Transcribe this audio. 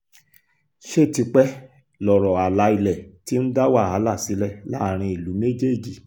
ṣe tipẹ́ lọ̀rọ̀ àlà ilẹ̀ ti ń dá wàhálà sílẹ̀ láàrin ìlú méjèèjì